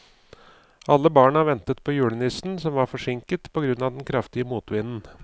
Alle barna ventet på julenissen, som var forsinket på grunn av den kraftige motvinden.